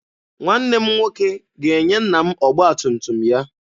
Nwanne m nwoke ga-enye nna m ọgba tum tum ya.